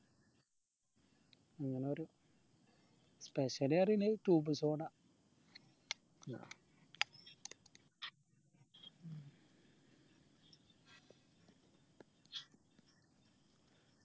അങ്ങാനൊരൊ special പറീന്നെ cube soda